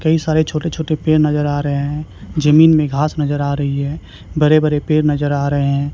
कई सारे छोटे छोटे पेड़ नजर आ रहे हैं जमीन में घास नजर आ रही है बड़े बड़े पेड़ नजर आ रहे हैं।